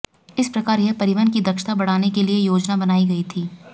इस प्रकार यह परिवहन की दक्षता बढ़ाने के लिए योजना बनाई गई थी